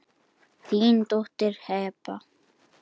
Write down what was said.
Þín dóttir Heba.